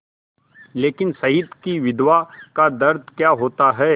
लेकिन शहीद की विधवा का दर्द क्या होता है